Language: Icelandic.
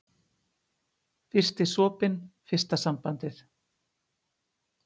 Fyrsti sopinn, fyrsta sambandið.